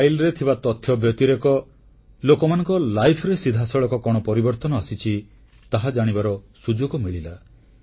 ଫାଇଲରେ ଥିବା ତଥ୍ୟ ବ୍ୟତିରେକ ଲୋକମାନଙ୍କ ଫାଇଲରେ ସିଧାସଳଖ କଣ ପରିବର୍ତ୍ତନ ଆସିଛି ତାହା ଜାଣିବାର ସୁଯୋଗ ମିଳିଲା